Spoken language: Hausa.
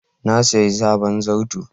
Na siya sabon zarto.